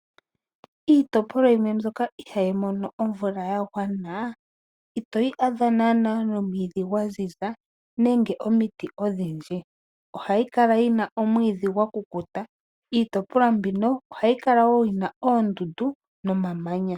Iitopolwa yimwe mbyoka ihayi mono omvula yagwana , itoyi adha naana nomwiidhi gwazizi nenge omiti odhindji , ohayi kala yina omwiidhi gwakukuta. Iitopolwa mbino ohayi kala woo yina oondundu nomamanya.